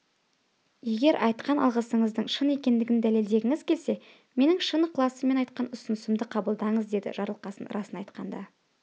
егер айтқан алғысыңыздың шын екендігін дәлелдегіңіз келсе менің шын ықыласыммен айтқан ұсынысымды қабылданыз деді жарылқасын расын айтқанда